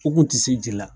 U kun ti se ji la